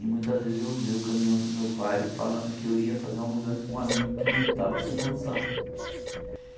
E muitas vezes eu usei o caminhão do meu pai falando que eu ia fazer uma mudança para um amigo que não tava sem condição.